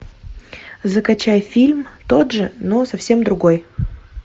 закачай фильм тот же но совсем другой